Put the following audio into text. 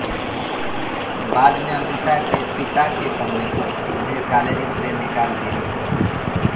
बाद में अमृता के पिता के कहने पर उन्हें कालेज से निकाल दिया गया